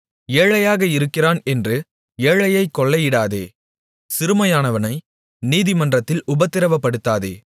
ஏழையாக இருக்கிறான் என்று ஏழையைக் கொள்ளையிடாதே சிறுமையானவனை நீதிமன்றத்தில் உபத்திரவப்படுத்தாதே